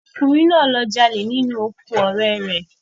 Ọkùnrin náà lọ jalè nínú oko ọ̀rẹ́ rẹ